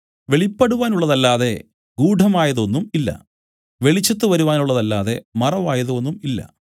വെളിപ്പെടുവാനുള്ളതല്ലാതെ ഗൂഢമായത് ഒന്നും ഇല്ല വെളിച്ചത്തു വരുവാനുള്ളതല്ലാതെ മറവായതു ഒന്നും ഇല്ല